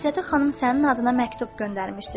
Məstəti xanım sənin adına məktub göndərmişdir.